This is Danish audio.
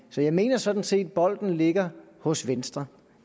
så jeg mener sådan set at bolden ligger hos venstre